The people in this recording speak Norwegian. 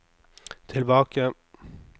tilbake